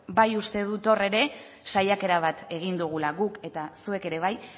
bai uste dut hor ere saiakera bat egin dugula guk eta zuek ere bai